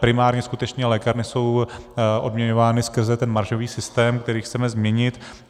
Primárně skutečně lékárny jsou odměňovány skrze ten maržový systém, který chceme změnit.